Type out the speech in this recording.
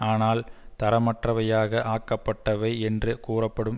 ஆனால் தரமற்றவையாக ஆக்கப்பட்டவை என்று கூறப்பபடும்